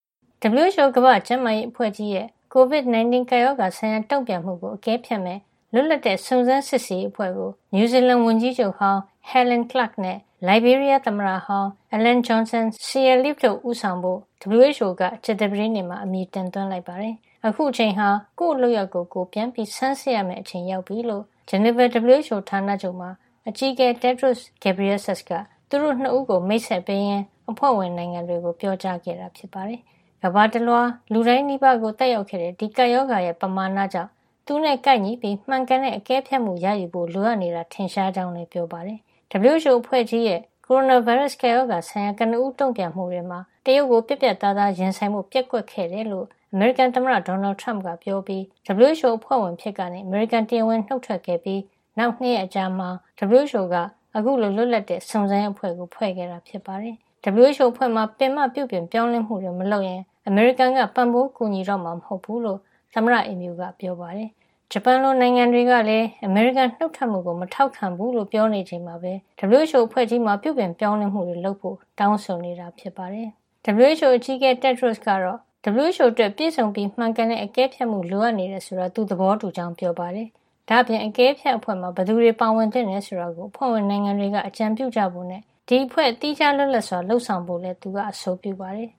WHO ကမ္ဘာ့ကျန်းမာရေးအဖွဲ့ကြီးရဲ့ ကိုဗစ် ၁၉ ကပ်ရောဂါဆိုင်ရာ တုံ့ပြန်မှုကို အကဲဖြတ်မယ့် လွတ်လပ်တဲ့ စုံစမ်းစစ်ဆေးရေးအဖွဲ့ကို နယူးဇီလန်ဝန်ကြီးချုပ်ဟောင်း Helen Clark နဲ့ လိုင်ဘေးရီးယားသမ္မတဟောင်း Ellen Johnson Sirleaf တို့ဦးဆောင် ဖို့ WHO က ကြာသပတေးနေ့မှာ အမည်တင်သွင်းလိုက်ပါတယ်။ အခုအချိန်ဟာ ကိုယ့်လုပ်ရပ်ကို ကိုယ်ပြန်ဆန်းစစ်ရမယ့် အချိန်ရောက်ပြီလို ဂျနီဗာ WHO ဌာနချုပ်မှာ အကြီးအကဲ Tedros Adhanom Ghebreyesus က သူတို့ ၂ ဦးကို မိတ်ဆက်ပေးရင်း အဖွဲ့ဝင်နိုင်ငံတွေကို ပြောကြားခဲ့ပါတယ်။ ကမ္ဘာတလွှား လူတိုင်းနီးပါးကို သက်ရောက်ခဲ့တဲ့ ဒီကပ်ရောဂါရဲ့ ပမာဏကြောင့် သူနဲ့ကိုက်ညီပြီး မှန်ကန်တဲ့ အကဲဖြတ်မှု ရယူဖို့ လိုအပ်နေတာ ထင်ရှားကြောင်းလည်း ပြောပါတယ်။ WHO အဖွဲ့ကြီးရဲ့ ကိုရိုနာဗိုင်းရပ်စ် ကပ်ရောဂါဆိုင်ရာ ကနဦး တုံ့ပြန်မှုတွေမှာ တရုတ်ကို ပြတ်ပြတ်သားသား ရင်ဆိုင်ဖို့ ပျက်ကွက်ခဲ့တယ်လို့ အမေရိကန်သမ္မတ ဒေါ်နယ်ထရမ့်က ပြောပြီး WHO အဖွဲ့ဝင်အဖြစ်ကနေ အမေရိကန် တရားဝင်နှုတ်ထွက်ခဲ့ပြီး ၂ ရက် အကြာမှာ WHO က အခုလို လွတ်လပ်တဲ့ စုံစမ်းရေးအဖွဲ့ကို ဖွဲ့ခဲ့တာ ဖြစ်ပါတယ်။ WHO အဖွဲ့မှာ ပင်မပြုပြင်ပြောင်းလဲမှုတွေ မလုပ်ရင် အမေရိကန်က ပံ့ပိုးကူညီတော့မှာ မဟုတ်ဖူးလို့ သမ္မတအိမ်ဖြူက ပြောခဲ့တာပါ။ ဂျပန်လို နိုင်ငံတွေကလည်း အမေရိကန်နုတ်ထွက်မှုကို မထောက်ခံဘူးလို့ပြောနေချိန်မှာပဲ WHO အဖွဲ့ကြီးမှာ ပြုပြင်ပြောင်းလဲမှုတွေ လုပ်ဖို့ တောင်းဆိုနေတာဖြစ်ပါတယ်။ WHO အကြီးအကဲ Tedros ကတော့ WHO အတွက် ပြည့်စုံပြီး မှန်ကန်တဲ့ အကဲဖြတ်မှု လိုအပ်နေတယ် ဆိုတာကို သူသဘောတူကြောင်း ပြောပါတယ်။ ဒါ့အပြင် အကဲဖြတ်အဖွဲ့မှာ ဘယ်သူတွေ ပါဝင်သင့်တယ် ဆိုတာကို အဖွဲ့ဝင်နိုင်ငံတွေက အကြံပြုကြဖို့နဲ့ ဒီအဖွဲ့ဟာ သီးခြားလွတ်လပ်စွာ လုပ်ဆောင်ဖို့လည်း သူက အဆိုပြုပါတယ်။